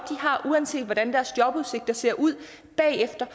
har uanset hvordan deres jobudsigter ser ud bagefter